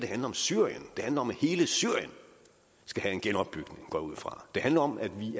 handler om syrien det handler om at hele syrien skal have en genopbygning går jeg ud fra det handler om at vi i